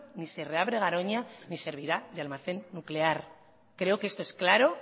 ni se reabre garoña ni servirá de almacén nuclear creo que esto es claro